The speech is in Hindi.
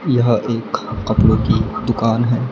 यह एक कपड़ों की दुकान है।